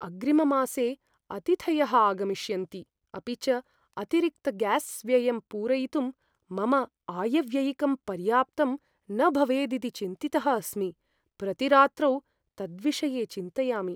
अग्रिममासे अतिथयः आगमिष्यन्ति, अपि च अतिरिक्तग्यास्व्ययं पूरयितुं मम आयव्ययिकं पर्याप्तं न भवेदिति चिन्तितः अस्मि, प्रतिरात्रौ तद्विषये चिन्तयामि।